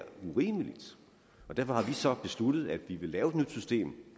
urimeligt og derfor har vi så besluttet at vi vil lave et nyt system